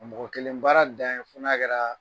Mɔgɔ kelen baara dan ye fo n'a kɛraa